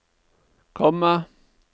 komma